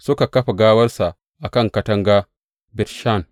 Suka kafa gawarsa a kan katanga Bet Shan.